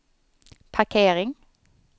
parkering